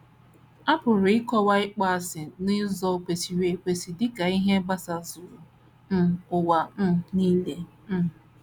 A pụrụ ịkọwa ịkpọasị n’ụzọ kwesịrị ekwesị dị ka ihe gbasazuru um ụwa um nile. um